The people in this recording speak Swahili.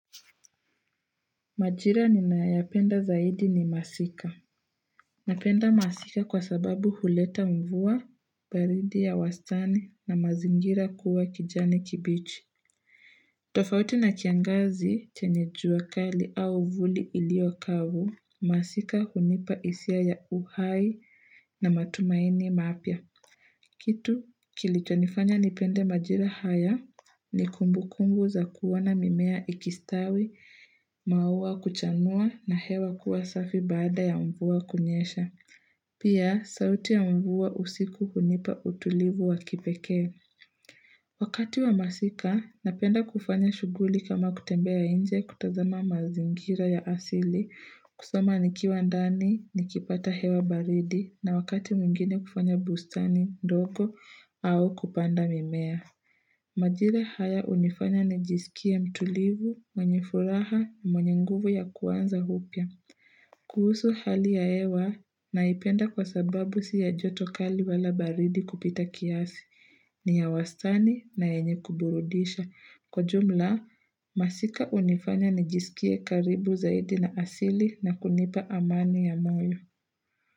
Majira ninayo yapenda zaidi ni masika. Napenda masika kwa sababu huleta mvua, baridi ya wastani na mazingira kuwa kijani kibichi. Tofauti na kiangazi chenye juakali au vuli ilio kavu, masika hunipa hisia ya uhai na matumaini mapya. Kitu kilicho nifanya nipende majira haya ni kumbukumbu za kuona mimea ikistawi, maua kuchanua na hewa kuwa safi baada ya mvua kunyesha. Pia sauti ya mvua usiku hunipa utulivu wa kipeke. Wakati wa masika, napenda kufanya shuguli kama kutembea inje kutazama mazingira ya asili, kusoma nikiwa ndani, nikipata hewa baridi, na wakati mwingine kufanya bustani ndogo au kupanda mimea. Majira haya hunifanya nijisikie mtulivu, mwenye furaha, mwenye nguvu ya kuanza upya. Kuhusu hali ya hewa naipenda kwa sababu siya jotokali wala baridi kupita kiasi, ni ya wastani na yenye kuburudisha. Kwa jumla, masika unifanya nijisikie karibu zaidi na asili na kunipa amani ya moyo.